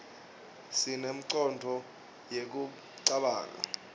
sinengcondvo yekucabanga